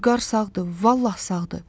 Vüqar sağdır, vallah sağdır.